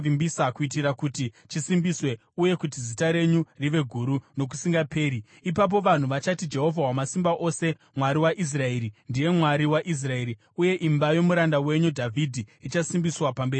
kuitira kuti chisimbiswe uye kuti zita renyu rive guru nokusingaperi. Ipapo vanhu vachati, ‘Jehovha Wamasimba Ose, Mwari waIsraeri, ndiye Mwari waIsraeri.’ Uye imba yomuranda wenyu Dhavhidhi ichasimbiswa pamberi penyu.